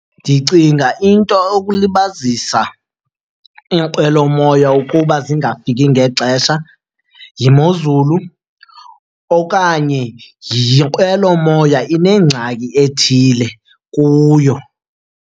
Ndicinga into okulibazisa iinqwelomoya ukuba zingafiki ngexesha yimozulu okanye yinqwelomoya inengxaki ethile kuyo.